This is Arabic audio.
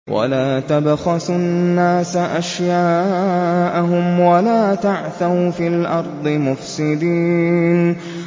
وَلَا تَبْخَسُوا النَّاسَ أَشْيَاءَهُمْ وَلَا تَعْثَوْا فِي الْأَرْضِ مُفْسِدِينَ